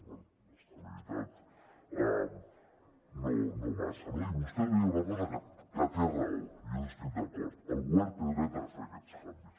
bé d’estabilitat no massa no i vostè deia una cosa que té raó i jo hi estic d’acord el govern té dret a fer aquests canvis